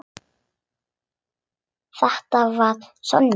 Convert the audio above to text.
Þetta var Sonja.